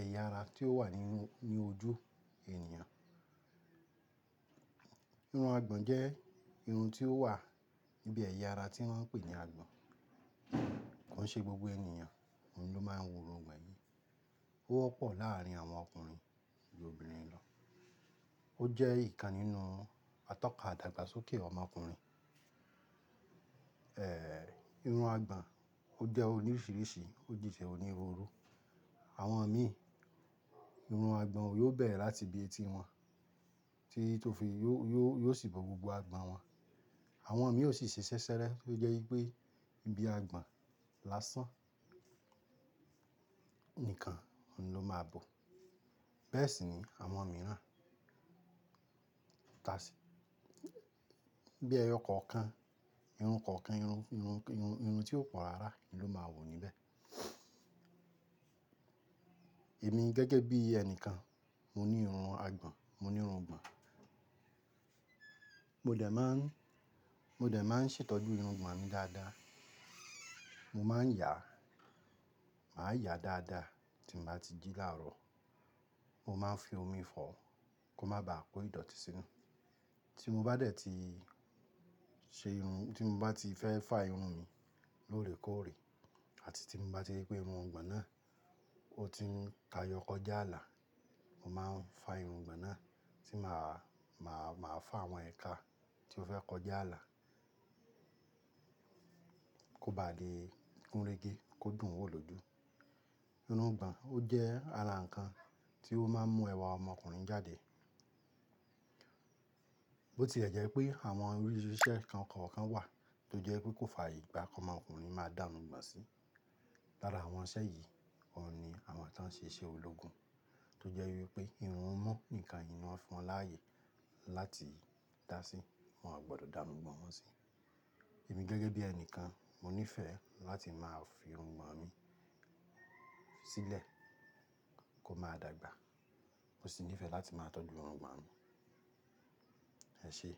ẹ̀yà ara tí ó wà ní ojú ènìyàn. Irun àgbọ̀n jẹ́ irun tí ó wà níbi ẹ̀yà ara tí wọ́n ń pè ní àgbọ̀n. Kò ń ṣe gbogbo ènìyàn, òun ló máa ń wù irun gbàn yìí. Ó wọ́pọ̀ láàrín àwọn ọkùnrin ju obìnrin lọ. Ó jẹ́ ìkan nínú atọ́ka àdàgbàsókè ọmọkùnrin. Èéh, irun àgbọ̀n ó jẹ́ orí oríṣìíríṣìí, ó dìtẹ̀ òní roro. Àwọn mi, irun àgbọ̀n wọn yóò bẹ̀rẹ̀ láti bí etí wọn tí tó fi yóò yóò sì bọ̀ gbogbo àgbọ̀n wọn. Àwọn mi yóò sì ṣe ṣẹṣẹrẹ, ó jẹ́ wípé ibi àgbọ̀n lásán nìkan ni ló máa bo. Bẹ́ẹ̀ sì ni àwọn mi ráà. Tà bí ẹyọ kọ̀ọ̀kan, irun kọ̀ọ̀kan, irun, irun, irun tí ó pọ̀ lára ni ló máa wù níbẹ̀. Èmi gẹ́gẹ́ bí ẹnìkan, mo ní irun àgbọ̀n, mo ní irun gbàn. Mo dẹ̀ máa ń, mo dẹ̀ máa ń ṣètọ́jú irun gbàn mi dáadáa. Mo máa ń yà, màá yà dáadáa tí bá ti jí láàrọ̀. Mo máa ń fi omi fọ̀ kó má ba à kó ìdọ̀tí sí inú. Tí mo bá dẹ̀ ti ṣe irun, tí mo bá ti fẹ́ fá irun mi lóòrèkóòrè àti tí mo bá rí pé irun gbàn náà ó ti ń ka yọkọ́ já àlà, mo máa ń fá irun gbàn náà, tí màá, màá, màá fá àwọn ẹ̀ka tí ó fẹ́ kọ já àlà kó ba à di kúnrége, kó dùn un wò lójú. Irun gbàn ó jẹ́ ààrà kan tí ó máa ń mú ẹwà ọmọkùnrin jáde. Bó ti ẹ̀ jẹ́ pé àwọn oríṣìí iṣẹ́ kan kọ̀ọ̀kan wà tó jẹ́ wípé kò fàyè gbá kí ọmọkùnrin máa dànù gbàn sí. Lára àwọn iṣẹ́ yìí, òun ni àwọn tí wọ́n ṣe ṣe ológun tó jẹ́ wípé irun imu nìkan yìí ni wón fọn láàyè láti dà sí, wọn ò gbọdọ̀ dàrù gbàn wọ́n sí. Èmi gẹ́gẹ́ bí ẹni kan, mo nífẹ̀ẹ́ láti máa fi irun gbàn mi sílẹ̀ kó máa dàgbà. Mo sì nífẹ̀ẹ́ láti máa tọ́jú irun gbàn mi. Ẹ ṣé.